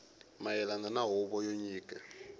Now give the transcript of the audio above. mayelana na huvo yo nyika